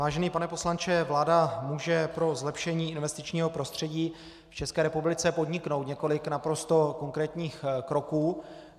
Vážený pane poslanče vláda může pro zlepšení investičního prostředí v České republice podniknout několik naprosto konkrétních kroků.